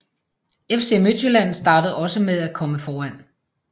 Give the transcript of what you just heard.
FC Midtjylland startede også med at komme foran